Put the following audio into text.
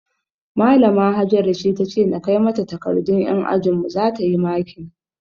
Malama Hajara ce tace na kai mata takardun yan ajinmu zata yi makin